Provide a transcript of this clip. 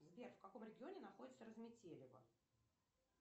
сбер в каком регионе находится разметелево